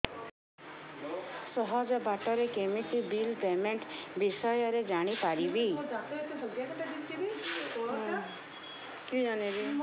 ସହଜ ବାଟ ରେ କେମିତି ବିଲ୍ ପେମେଣ୍ଟ ବିଷୟ ରେ ଜାଣି ପାରିବି